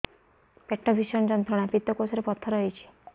ପେଟ ଭୀଷଣ ଯନ୍ତ୍ରଣା ପିତକୋଷ ରେ ପଥର ହେଇଚି